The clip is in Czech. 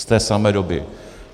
Z té samé doby.